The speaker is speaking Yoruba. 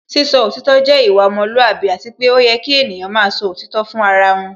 Sísọ òtítọ́ jẹ́ ìwà ọmọlúwàbí Àti pé ó yẹ kí ènìyàn máa sọ òtítọ́ fún ara wọn